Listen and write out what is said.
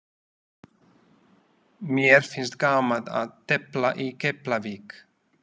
Mér finnst gaman að tefla í Keflavík.